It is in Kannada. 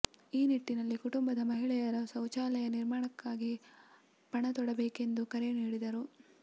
ಈ ನಿಟ್ಟಿನಲ್ಲಿ ಕುಟುಂಬದ ಮಹಿಳೆಯರ ಶೌಚಾಲಯ ನಿರ್ಮಾಣಕ್ಕಾಗಿ ಪಣ ತೊಡಬೇಕೆಂದು ಕರೆ ನೀಡಿದರು